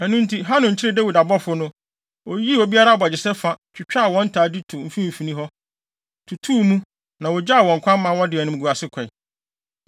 Ɛno nti, Hanun kyeree Dawid abɔfo no, yii obiara abogyesɛ fa, twitwaa wɔn ntade to mfimfini hɔ, tutuu mu, na wogyaa wɔn kwan, ma wɔde animguase kɔe.